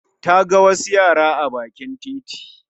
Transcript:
Ta ga wasu yara a bakin titi